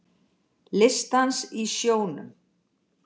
Listdans í sjónum